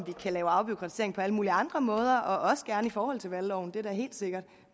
vi kan lave afbureaukratisering på alle mulige andre måder og også gerne i forhold til valgloven det er da helt sikkert